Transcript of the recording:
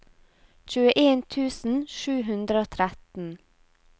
tjueen tusen sju hundre og tretten